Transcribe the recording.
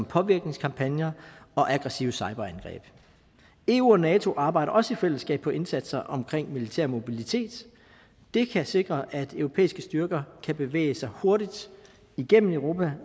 påvirkningskampagner og aggressive cyberangreb eu og nato arbejder også i fællesskab på indsatser omkring militær mobilitet det kan sikre at europæiske styrker kan bevæge sig hurtigt igennem europa